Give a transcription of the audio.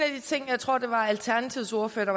ting som jeg tror alternativets ordfører